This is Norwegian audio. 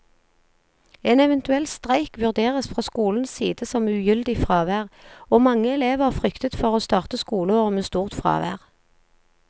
En eventuell streik vurderes fra skolens side som ugyldig fravær, og mange elever fryktet for å starte skoleåret med stort fravær.